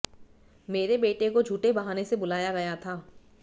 मेरे बेटे को झूठे बहाने से बुलाया गया था